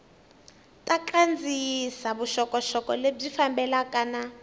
ta kandziyisa vuxokoxoko lebyi fambelanaka